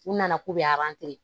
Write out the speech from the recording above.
U nana k'u bɛ